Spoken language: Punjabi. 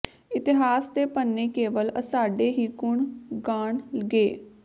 ਇਤਿਹਾਸ ਦੇ ਪੰਨੇ ਕੇਵਲ ਅਸਾਡੇ ਹੀ ਗੁਣ ਗਾਣ ਗੇ